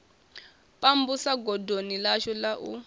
pambusa godoni ḽashu la u